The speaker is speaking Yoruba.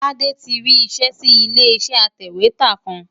Tade ti rí iṣẹ́ sí ilé iṣẹ́ atẹ̀wétà kan.